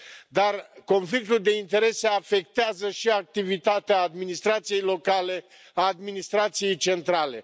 Dar conflictul de interese afectează și activitatea administrației locale, a administrației centrale.